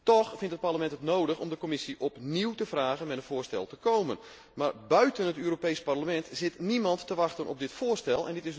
Toch vindt het Parlement het nodig om de Commissie opnieuw te vragen met een voorstel te komen, maar buiten het Europees Parlement zit niemand te wachten op dit voorstel.